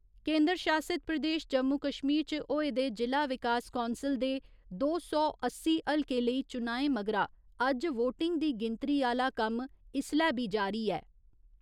केन्द्र शासित प्रदेश जम्मू कश्मीर च होए दे जि'ला विकास कौंसल दे दो सौ अस्सी हलके लेई चुनाएं मगरा अज्ज वोटिंग दी गिनतरी आह्‌ला कम्म इसलै बी जारी ऐ।